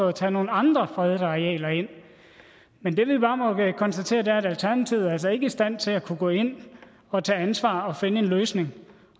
at tage nogle andre fredede arealer ind men det vi bare må konstatere er at alternativet altså ikke er i stand til at kunne gå ind og tage ansvar og finde en løsning